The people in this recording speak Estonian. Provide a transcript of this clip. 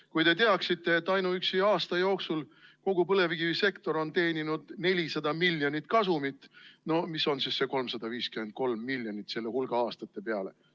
Kui te teaksite, et ainuüksi aasta jooksul on kogu põlevkivisektor teeninud 400 miljonit kasumit – no mis on siis see 353 miljonit selle hulga aastate peale?